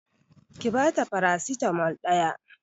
Ki bata farasitamol ɗaya